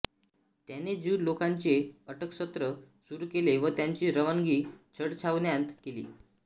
त्याने ज्यू लोकांचे अटकसत्र सुरू केले व त्यांची रवानगी छळछावण्यांत केली